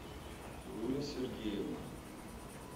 гуля сергеевна